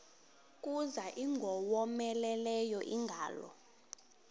kuza ingowomeleleyo ingalo